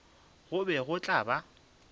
go be go tla ba